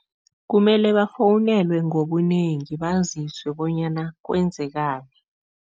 Kumele bafowunelwe ngobunengi, baziswe bonyana kwenzekani.